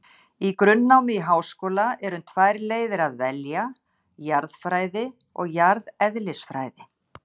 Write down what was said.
Í grunnnámi í háskóla er um tvær leiðir að velja, jarðfræði og jarðeðlisfræði.